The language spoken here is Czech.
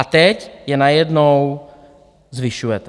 A teď je najednou zvyšujete.